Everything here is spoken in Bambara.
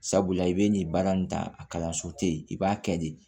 Sabula i bɛ nin baara nin ta a kalanso tɛ yen i b'a kɛ de